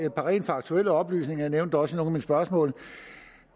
et par rent faktuelle oplysninger jeg nævnte også af mine spørgsmål